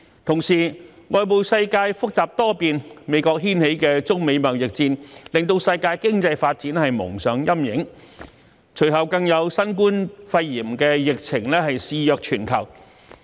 同時，外部世界複雜多變，美國掀起的中美貿易戰令世界經濟發展蒙上陰影，隨後更有新冠肺炎疫情肆虐全球。